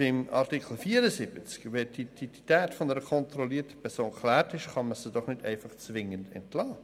Zu Artikel 74: Wenn die Identität einer kontrollierten Person geklärt ist, kann man sie doch nicht einfach zwingend entlassen!